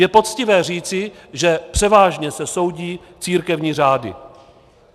Je poctivé říci, že převážně se soudí církevní řády.